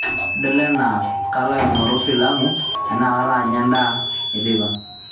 idol enaa kalo aing'or filamu ana kalo anya endaa eteipa